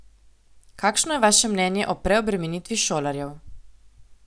Kakšno je vaše mnenje o preobremenitvi šolarjev?